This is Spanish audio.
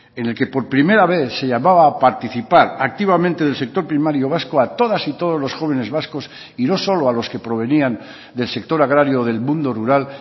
en el que por primera vez se llamaba a participar activamente del sector primario vasco a todas y todos los jóvenes vascos y no solo a los que provenían del sector agrario del mundo rural